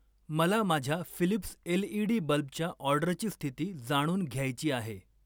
मला माझ्या Philips LED बल्बच्या ऑर्डरची स्थिती जाणून घ्यायची आहे.